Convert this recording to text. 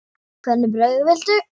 Hvernig brauð viltu?